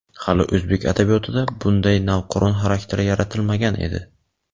Hali o‘zbek adabiyotida bunday navqiron xarakter yaratilmagan edi.